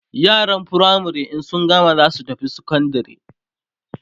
yaran firamare in sun girma zasu tafi sekondari